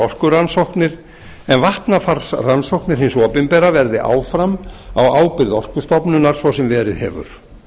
orkurannsóknir en vatnafarsrannsóknir hins opinbera verði áfram á ábyrgð orkustofnunar svo sem verið hefur